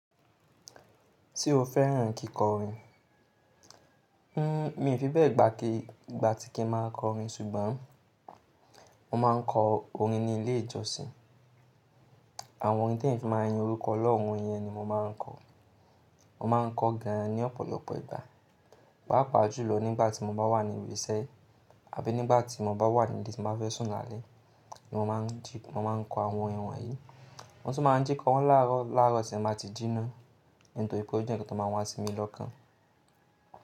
Tí o fẹ́ràn kíko orin? Hmm, mi ò fi bẹ́ẹ̀ gbá ki, gbà tí kin máa ń kọ orin ṣùgbọ́n mo máa ń kọ orin ní ilé ìjọsìn. Àwọn orin tí èniyàn fi máa ń yin orúkọ Ọlọ́run yẹn ni mo máa ń kọ. Mo máa ń kọ gan an ní ọ̀pọ̀lọpọ̀ ìgbà, pàápàá jùlọ nígbà tí mo bá wà ní ibi iṣẹ́ àbí nígbà tí mo bá wà níbi tí mo bá fẹ́ sùn lálẹ́ ni mo máa ń ji, mo máa ń kọ àwọn wọ̀nyí. Mo tún máa ń jí kọ wọ́n láàárọ̀, láàárọ̀ tí n máa ti jíná nítorí pé ó jẹ́ ǹkan tó máa ń wá sí mi lọ́kàn.